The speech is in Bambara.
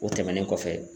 O tɛmɛnen kɔfɛ